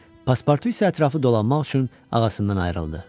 Paspartu isə ətrafı dolanmaq üçün ağasından ayrıldı.